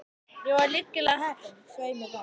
Ég var lygilega heppin, svei mér þá.